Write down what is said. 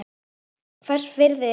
Hvers virði er hann?